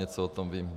Něco o tom vím.